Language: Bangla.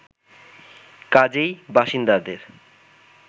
কাজেই বাসিন্দাদের